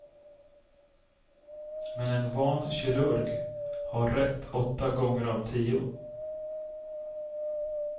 Men en van kirurg har rätt åtta gånger av tio.